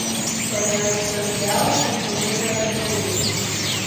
Ko je odštorkljal, sem pogledala po ulici.